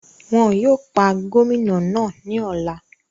Wọn yóò pa Gómìnà náà ní ọ̀la